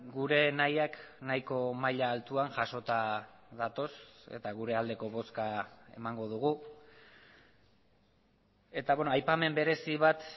gure nahiak nahiko maila altuan jasota datoz eta gure aldeko bozka emango dugu eta aipamen berezi bat